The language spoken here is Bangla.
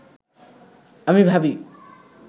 আমি ভাবি